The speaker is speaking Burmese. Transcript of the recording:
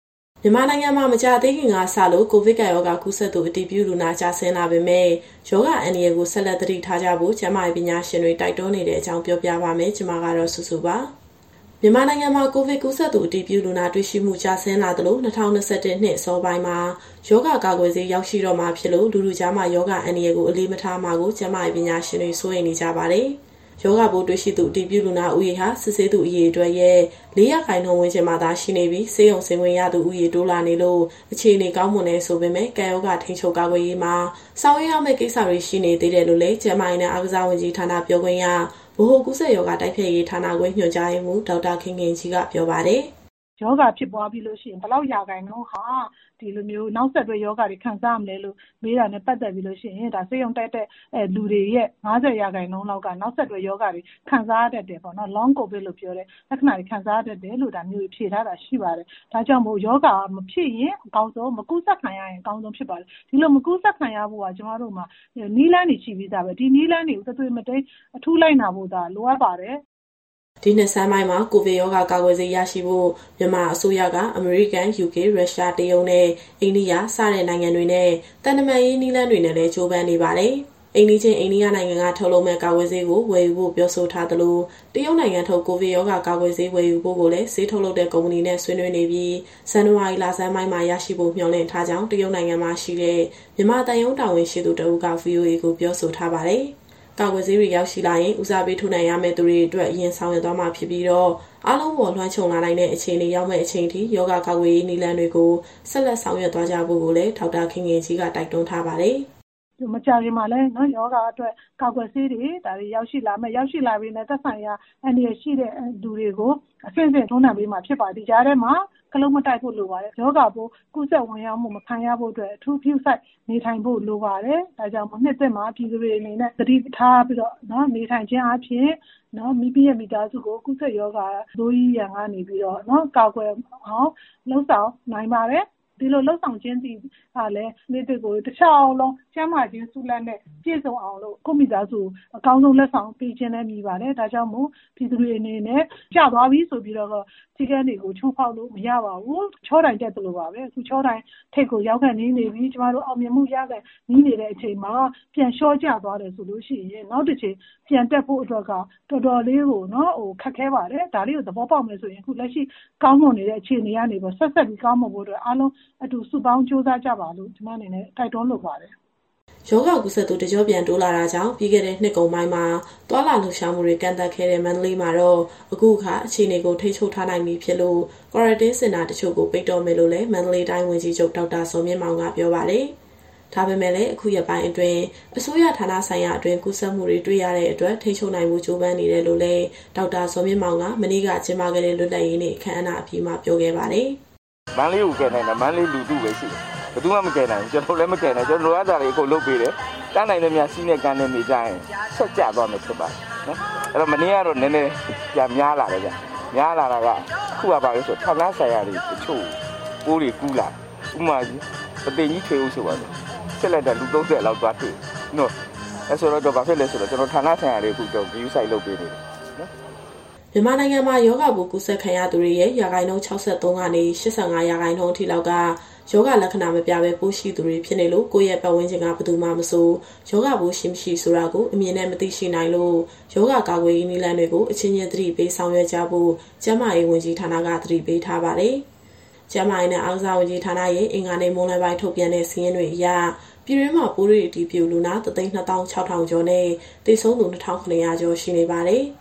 မြန်မာနိုင်ငံမှာ မကြာသေးခင်ကစလို့ ကိုဗစ်ကပ်ရောဂါ ကူးစက်သူ အတည်ပြုလူနာ ကျဆင်းလာပေမဲ့၊ ရောဂါအန္တရာယ်ကို ဆက်လက် သတိပြုကြဖို့ ကျန်းမာရေး ပညာရှင်တွေ တိုက်တွန်းနေတဲ့အကြောင်း ဗွီအိုအေမြန်မာပိုင်း သတင်းထောက်မစုစုက တင်ဆက်ပေးမှာပါ။ မြန်မာနိုင်ငံမှာ ကိုဗစ်ကူးစက်သူအတည်ပြုလူနာ တွေ့ရှိမှု ကျဆင်းလာသလို ၂၀၂၁ နှစ်အစောပိုင်းမှာ ရောဂါကာကွယ်ဆေး ရောက်ရှိလာတော့မှာမို့ လူထုကြားမှာ ရောဂါအန္တရာယ်ကို အလေးမထားမှာကို ကျန်းမာရေးပညာရှင်တွေ စိုးရိမ်နေကြပါတယ်။ ရောဂါပိုးတွေ့ရှိသူ အတည်ပြုလူနာဦးရေဟာ စစ်ဆေးသူအရေအတွက်ရဲ့ ၄ ရာခိုင်နှုန်းဝန်းကျင်မှာသာ ရှိနေပြီး၊ ဆေးရုံဆင်းခွင့်ရသူ တိုးလာနေလို့ အခြေအနေကောင်းမွန်တယ်ဆိုပေမယ့် ကပ်ရောဂါထိန်းချုပ်၊ ကာကွယ်ရေးမှာ ဆောင်ရွက်ရမယ့်ကိစ္စတွေ ရှိနေသေးတယ်လို့လည်း ကျန်းမာရေးနဲ့အားကစားဝန်ကြီးဌာနက ပြောခွင့်ရ၊ ဗဟိုကူးစက်ရောဂါတိုက်ဖျက်ရေးဌာနခွဲ ညွှန်ကြားရေးမှူး ဒေါက်တာခင်ခင်ကြီးက ပြောပါတယ်။ "ရောဂါဖြစ်ပွားပြီးလို့ရှိရင် ဘယ်လောက်ရာခိုင်နှုန်းဟာ နောက်ဆက်တွဲ ရောဂါလက္ခဏာတွေခံစားရမလဲလို့ မေးတာနဲ့ပတ်သက်ပြီးတော့ ဆေးရုံတက်တဲ့လူတွေရဲ့ ၅၀ ရာခိုင်နှုန်းလောက်က နောက်ဆက်တွဲရောဂါတွေ ခံစားရတတ်တယ်ပေါ့နော်။ Long COVID လို့ပြောတဲ့ လက္ခဏာတွေ ခံစားရတတ်တယ်လို့ (ကမ္ဘာ့ကျန်းမာရေးအဖွဲ့က) ဖြေထားတာရှိပါတယ်။ ဒါကြောင့်မို့ ရောဂါမဖြစ်ရင်အကောင်းဆုံး၊ မကူးစက်ခံရရင် အကောင်းဆုံးဖြစ်ပါတယ်။ ဒီလိုမကူးစက်ခံရဖို့က ကျမတို့မှာ နည်းလမ်းတွေရှိပြီးသားပဲ။ ဒီနည်းလမ်းတွေကို တသွေမတိမ်းအထူးလိုက်နာဖို့သာ လိုအပ်ပါတယ်။" ဒီနှစ်ဆန်းပိုင်းမှာ ကိုဗစ်ရောဂါကာကွယ်ဆေး ရရှိဖို့ မြန်မာအစိုးရက အမေရိကန်၊ ယူကေ၊ ရုရှား၊ တရုတ်နဲ့ အိန္ဒိယ စတဲ့နိုင်ငံတွေနဲ့ သံတမန်ရေးနည်းလမ်းတွေနဲ့လည်း ကြိုးပမ်းနေပါတယ်။ အိမ်နီးချင်း အိန္ဒိယနိုင်ငံက ထုတ်လုပ်မယ့် ကာကွယ်ဆေးကို ဝယ်ယူဖို့ ပြောဆိုထားသလို၊ တရုတ်နိုင်ငံထုတ် ကိုဗစ်ကာကွယ်ဆေး ဝယ်ယူဖို့ကိုလည်း ဆေးထုတ်လုပ်တဲ့ ကုမ္ပဏီနဲ့ ဆွေးနွေးနေပြီး ဇန်နဝါရီလဆန်းပိုင်းမှာ ရရှိဖို့မျှော်လင့်ထားကြောင်း တရုတ်နိုင်ငံမှာရှိတဲ့ မြန်မာသံရုံးတာဝန်ရှိသူ တဦးက VOA ကိုပြောဆိုထားပါတယ်။ ကာကွယ်ဆေးတွေရောက်ရှိလာရင် ဦးစားပေး ထိုးနှံရမယ့်သူတွေအတွက် အရင်ဆောင်ရွက်သွားမှာဖြစ်ပြီးတော့ အားလုံးအပေါ်လွှမ်းခြုံလာနိုင်တဲ့ အခြေအနေရောက်မယ့်အချိန်ထိ ရောဂါကာကွယ်ရေးနည်းလမ်းတွေကို ဆက်လက် ဆောင်ရွက်သွားကြဖို့ကိုလည်း ဒေါက်တာခင်ခင်ကြီးက တိုက်တွန်းထားပါတယ်။ "မကြာခင်မှာလည်း ရောဂါအတွက်ကာကွယ်ဆေးတွေ ရောက်ရှိလာပြီးရင် သက်ဆိုင်ရာအန္တရာယ်ရှိတဲ့သူတွေကို အဆင့်ဆင့် ထိုးနှံပေးမှာဖြစ်ပါတယ်။ ဒီကြားထဲမှာ ခလုတ်မတိုက်ဖို့လိုပါတယ်။ ရောဂါပိုးကူးစက်ခံရမှု မဝင်ရောက်ဖို့အတွက် အထူးဂရုစိုက် နေထိုင်ဖို့လိုပါတယ်။ ဒါကြောင့်မို့ နှစ်သစ်မှာပြည်သူတွေအနေနဲ့ သတိထားပြီးတော့နေထိုင်ခြင်းအားဖြင့် မိသားစုကိုရောဂါဆိုးကြီး ကူးစက်မှုရန်ကနေ ကာကွယ်နိုင်ပါတယ်။ ဒီလိုလုပ်ဆောင်ခြင်းကလည်း နှစ်သစ်ကို တလျှောက်လုံး ကျန်းမာခြင်းဆုလာဘ်နဲ့ ပြည့်စုံအောင်လို့ ကိုယ့်မိသားစုကို အကောင်းဆုံးလက်ဆောင် ပေးခြင်းလည်းမည်ပါတယ်။ ဒါကြောင့်မို့ ရောဂါကူးစက်မှုကျသွားပြီဆိုပြီးတော့ စည်းကမ်းတွေ ချိုးဖောက်လို့မရပါဘူး။ ချောတိုင်တက်သလိုပါပဲ အခုချောတိုင်ထိပ်ကို ရောက်ခါနီးနေပါပြီ။ ကျမတို့အောင်မြင်မှုရခါနီးနေချိန်မှာ ပြန်လျှောကျသွားတယ်ဆိုရင် နောက်တကြိမ်ပြန်တက်ဖို့အတွက်က တော်တော်လေးကို ခက်ခဲပါတယ်။ ဒါလေးကို သဘောပေါက်မယ်ဆိုရင် အခုကောင်းမွန်နေတဲ့ အခြေအနေကနေပြီးတော့ ဆက်ပြီးကောင်းမွန်ဖို့အတွက် အားလုံးအတူစုပေါင်းကြိုးစားကြပါလို့ ကျမအနေနဲ့ တိုက်တွန်းလိုပါတယ်။" ရောဂါကူးစက်သူ တကျော့ပြန်တိုးလာတာကြောင့် ပြီးခဲ့တဲ့နှစ်ကုန်ပိုင်းမှာ သွားလာလှုပ်ရှားမှုတွေ ကန့်သတ်ခဲ့တဲ့ မန္တလေးမှာတော့ အခုအခါ အခြေအနေကို ထိန်းချုပ်ထားနိုင်ပြီဖြစ်လို့ Quarantine စင်တာတချို့ကို ပိတ်တော့မယ်လို့လည်း မန္တလေးတိုင်းဝန်ကြီးချုပ် ဒေါက်တာဇော်မြင့်မောင်က ပြောပါတယ်။ ဒါပေမဲ့လည်း အခုရက်ပိုင်းအတွင်း အစိုးရဌာနဆိုင်ရာအတွင်း ကူးစက်မှုတွေ တွေ့ရတဲ့အတွက် ထိန်းချုပ်နိုင်ဖို့ ကြိုးပမ်းနေတယ်လို့လည်း ဒေါက်တာဇော်မြင့်မောင်က မနေ့ကကျင်းပခဲ့တဲ့ လွတ်လပ်ရေးနေ့အခမ်းအနားပြီးမှာ ပြောခဲ့ပါတယ်။ "မန္တလေးကိုကယ်နိုင်တာ မန္တလေးလူထုပဲ ရှိတယ်။ ဘယ်သူမှမကယ်နိုင်ဘူး။ ကျနော်တို့လည်း မကယ်နိုင်ဘူး။ ကျနော်တို့ လိုအပ်တာတွေ အကုန်လုပ်ပေးတယ်။ တတ်နိုင်သမျှ စည်းနဲ့ကမ်းနဲ့နေကြရင် လျှော့ကျသွားမယ်ထင်ပါတယ်။ မနေ့ကတော့ နည်းနည်းပြန်များလာတယ်ဗျ။ များလာတာက အခုကဘာဖြစ်လို့လဲဆိုတော့ ဌာနဆိုင်ရာတချို့ကို ပိုးတွေကူးလာတယ်။ ဥပမာ ပုသိမ်ကြီးထွေအုပ်ဆိုပါစို့၊ စစ်လိုက်တာ လူ ၃၀ လောက်သွားတွေ့တယ်။ အဲဒီလိုဆိုတော့ ကျနော်တို့အခု ဌာနဆိုင်ရာတွေကို ဂရုစိုက်လုပ်ပေးနေပါတယ်။" မြန်မာနိုင်ငံမှာ ရောဂါပိုးကူးစက်ခံရသူတွေရဲ့ ရာခိုင်နှုန်း ၆၃ ကနေ ၈၅ အထိလောက်က ရောဂါလက္ခဏာမပြပဲ ပိုးရှိသူတွေဖြစ်နေလို့ ကိုယ့်ရဲ့ပတ်ဝန်းကျင်က ဘယ်သူမှာမဆို ရောဂါရှိ မရှိဆိုတာကို အမြင်နဲ့မသိရှိနိုင်လို့ ရောဂါကာကွယ်ရေးနည်းလမ်းတွေကို အချင်းချင်းသတိပေးဆောင်ရွက်ကြဖို့ ကျန်းမာရေးဝန်ကြီးဌာနက သတိပေးထားပါတယ်။ ကျန်းမာရေးနဲ့အားကစားဝန်ကြီးဌာနရဲ့ အင်္ဂါနေ့မွန်းလွဲပိုင်းထုတ်ပြန်တဲ့ စာရင်းအရ ပြည်တွင်းမှာပိုးတွေ့အတည်ပြုလူနာ ၁၂၆,၀၀၀ ကျော်နဲ့ သေဆုံးသူ ၂,၇၀၀ ကျော်ရှိနေပါတယ်။